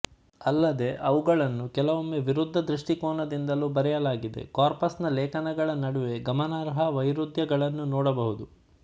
ಅಲ್ಲದೇ ಅವುಗಳನ್ನು ಕೆಲವೊಮ್ಮೆ ವಿರುದ್ಧ ದೃಷ್ಟಿಕೋನದಿಂದಲು ಬರೆಯಲಾಗಿದೆಕಾರ್ಪಸ್ ನ ಲೇಖನಗಳ ನಡುವೆ ಗಮನಾರ್ಹ ವೈರುದ್ಯಗಳನ್ನು ನೋಡಬಹುದು